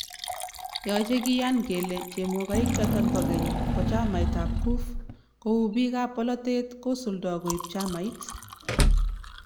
Yache kiyaan kole chemogaik choton bo geny bo chamait ab CUF ko uu bik ab polatet kosuldo koib chamait